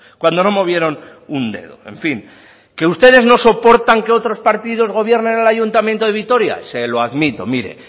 cuando no movieron un dedo en fin que ustedes no soportan que otros partidos gobiernen en el ayuntamiento de vitoria se lo admito mire